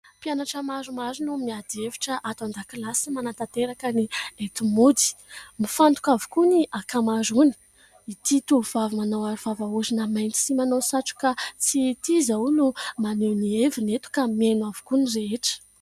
Mpianatra maromaro no miady hevitra ato an-dakilasy sy manantanteraka ny enti-mody mifantoka avokoa ny ankamaroany. Ity tovovavy manao aro vava orona mainty sy manao satroka tsihy ity zao no maneho ny heviny eto ka miaino avokoa ny rehetra.